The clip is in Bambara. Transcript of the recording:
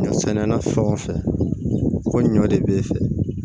Ɲɔ sɛnɛna fɛn o fɛn ko ɲɔ de b'e fɛ